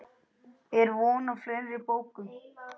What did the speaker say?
Er von á fleiri bókum?